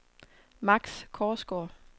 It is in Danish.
Max Korsgaard